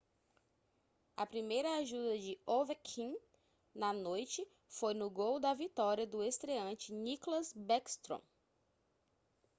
a primeira ajuda de ovechkin na noite foi no gol da vitória do estreante nicklas backstrom